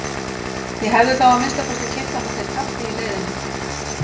Ég hefði þá að minnsta kosti keypt handa þér kaffi í leiðinni.